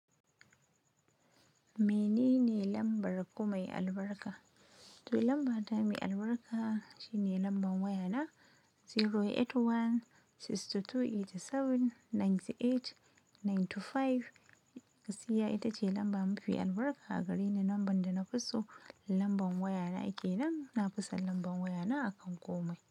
Mene ne lambar ku mai albarka? To lamba ta mai albarka, shine lambar waya na, zero eight one sixty two eighty seven ninty eight ninty five. Gaskiya ita ce lamba mafi albarka, gareni namba da na fi so, lambar waya na kenan, na fi son lambar waya na akan kumai.